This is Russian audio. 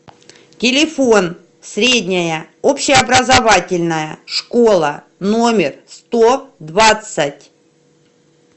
телефон средняя общеобразовательная школа номер сто двадцать